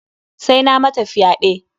Sai na mata fyaɗe.